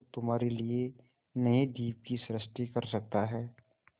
जो तुम्हारे लिए नए द्वीप की सृष्टि कर सकता है